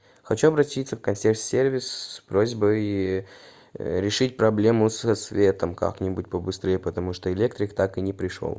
хочу обратиться в консьерж сервис с просьбой решить проблему со светом как нибудь побыстрее потому что электрик так и не пришел